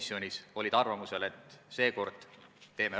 Selle lõike kehtima hakkamist lükatakse viis aastat edasi.